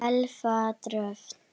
Elfa Dröfn.